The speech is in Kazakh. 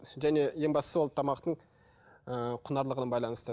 және ең бастысы ол тамақтың ы құнарлылығына байланысты